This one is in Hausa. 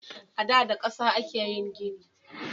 Ada da kasa ake yin gini.